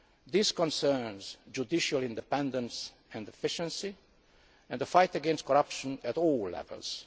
These concern judicial independence and efficiency and the fight against corruption at all levels.